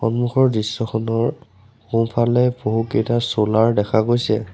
সন্মুখৰ দৃশ্যখনৰ সোঁফালে বহুকেইটা চ'লাৰ দেখা গৈছে।